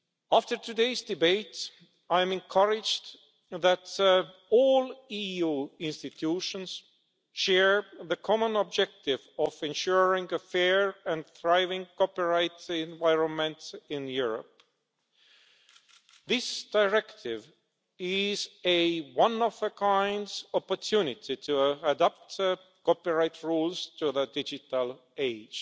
After today's debate I'm encouraged that all EU institutions share the common objective of ensuring a fair and thriving copyright environment in Europe. This directive is a one-of-a-kind opportunity to adopt copyright rules to the digital age.